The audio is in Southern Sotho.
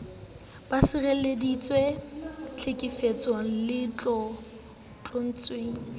ba sireleditswe tlhekefetsong le tlontlollong